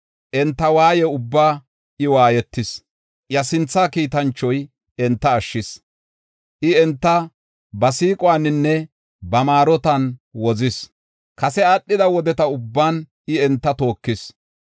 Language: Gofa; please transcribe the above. Enta waaye ubbaa I waayetis; iya Sinthaa Kiitanchoy enta ashshis. I enta ba siiquwaninne ba maarotan wozis; kase aadhida wodeta ubban I enta tookis.